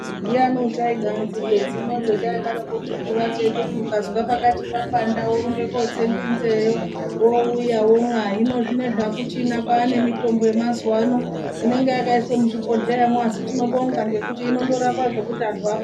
Ndiani acharida nzinde dziya dzataitinukanzwa panopanda worumbako kotse nzindeyo uyewo kune mitombo yemazuva ano ine muzvibhedhlera asi tinobonga inorapa kuti antu apone.